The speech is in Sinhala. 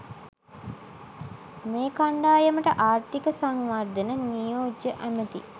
මේ කණ්ඩායමට ආර්ථික සංවර්ධන නියෝජ්‍ය ඇමැති